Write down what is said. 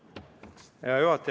Hea juhataja!